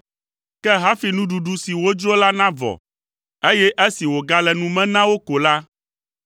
Ke hafi nuɖuɖu si wodzro la navɔ, eye esi wògale nu me na wo ko la,